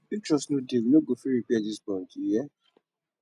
if trust no dey we no go fit repair dis bond you hear